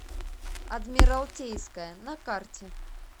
адмиралтейская на карте